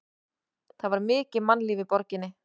Það var mikið mannlíf í borginni.